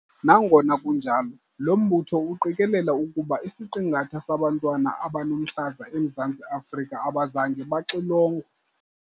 Nangona kunjalo, lo mbutho uqikelela ukuba isiqingatha sabantwana abanomhlaza eMzantsi Afrika abazange baxilongwa.